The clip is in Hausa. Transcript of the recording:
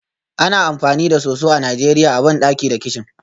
Ana amfani da soso a Najeriya a bandaki da kicin